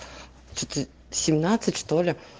что-то семнадцать что ли